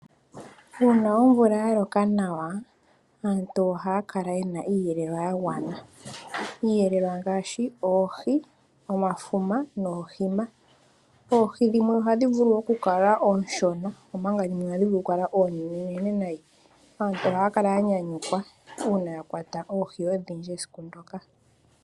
Uuna omvula ya loka nawa aantu ohaa kala yena iiyelelwa ya gwana nawa, iiyelelwa ngaashi oohi omafuma oohi dhimwe ohadhi vulu okukala ooshona omanga dhimwe ohadhi vulu okukala oonene aantu ohaya kala ya nyanyukwa uuna ya kwata oohi odhindji esiku ndoka.